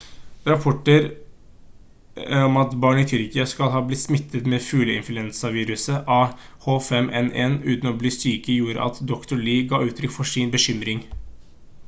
rapporter om at barn i tyrkia skal ha blitt smittet med fugleinfluensaviruset a h5n1 uten å bli syke gjorde at dr. lee ga uttrykk for sin bekymring